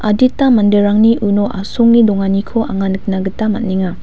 adita manderangni uno asonge donganiko anga nikna gita man·enga.